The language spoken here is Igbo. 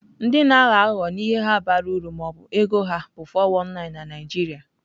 Ndị na-aghọ aghụghọ n'ihe ha bara uru ma ọ bụ ego ha bụ 419 na Naijiria.